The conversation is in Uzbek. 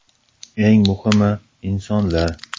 Eng muhimi insonlar.